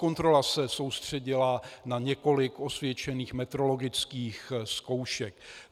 Kontrola se soustředila na několik osvědčených metrologických zkoušek.